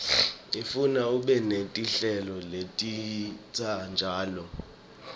ifuna ube netinhlelo letinsha njalo